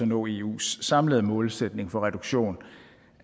nå eus samlede målsætning for reduktion